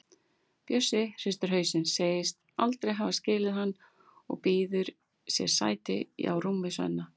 Bjössi hristir hausinn, segist aldrei hafa skilið hann og býður sér sæti á rúmi Svenna.